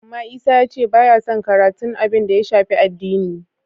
Amma Isa ya ce ba yason karatun abin da ya shafi addini.